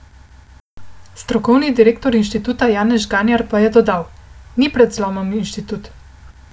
Strokovni direktor inštituta Janez Žgajnar pa je dodal: "Ni pred zlomom inštitut.